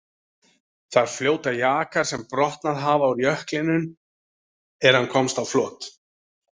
Þar fljóta jakar sem brotnað hafa úr jöklinum er hann komst á flot.